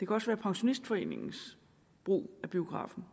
også være pensionistforeningens brug af biografen